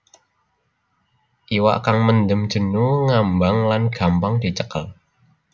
Iwak kang mendem jenu ngambang lan gampang dicekel